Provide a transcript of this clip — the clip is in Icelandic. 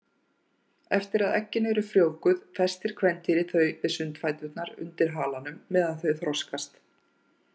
Eftir að eggin eru frjóvguð festir kvendýrið þau við sundfæturna undir halanum meðan þau þroskast.